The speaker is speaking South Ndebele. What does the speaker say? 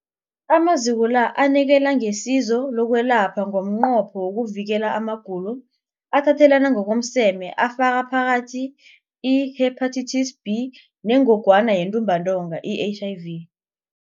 Amaziko la anikela ngesizo lokwelapha ngomnqopho wokuvikela amagulo athathelana ngokomseme afaka phakathi i-Hepatitis B neNgogwana yeNtumbantonga, i-HIV.